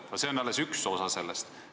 No see on alles üks osa sellest.